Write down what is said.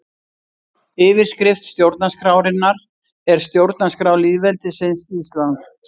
Yfirskrift stjórnarskrárinnar er Stjórnarskrá lýðveldisins Íslands.